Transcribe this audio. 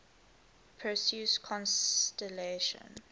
perseus constellation